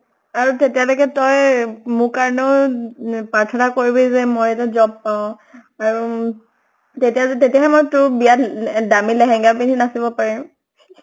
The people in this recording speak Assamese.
আৰু তেতিয়ালৈকে তই মোৰ কাৰণেও ন প্ৰাৰ্থনা কৰিবি যে মই এটা job পাওঁ। আৰু তেৰিয়া য্ত তেতিয়া হে তোৰ বিয়াত এ দামি লেহেঙ্গা পিন্ধি নাচিব পাৰিম